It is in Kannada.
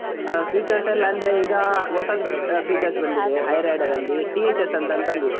ಆ features ಎಲ್ಲ ಅಂದ್ರೆ ಈಗ ಹೊಸದು features ಬಂದಿದೆ, Hyryder ಅಲ್ಲಿ THS ಅಂತ ಒಂದು ಬಂದಿದೆ.